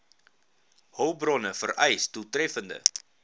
hulpbronne vereis doeltreffende